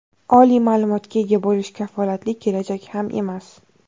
Oliy ma’lumotga ega bo‘lish kafolatli kelajak ham emas!.